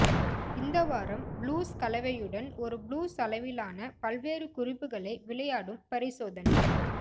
இந்த வாரம் ப்ளூஸ் கலவையுடன் ஒரு ப்ளூஸ் அளவிலான பல்வேறு குறிப்புகளை விளையாடும் பரிசோதனை